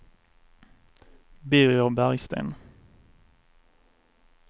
Birger Bergsten